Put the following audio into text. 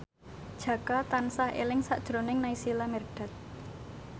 Jaka tansah eling sakjroning Naysila Mirdad